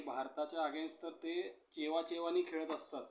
आणि भारताच्या against तर ते चेवाचेवानी खेळत असतात.